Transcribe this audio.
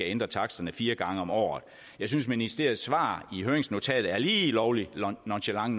ændre taksterne fire gange om året jeg synes ministeriets svar i høringsnotatet er lige lovlig nonchalant